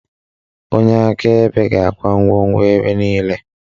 Onye akaebe ga-akwụ ụgwọ mmebi niile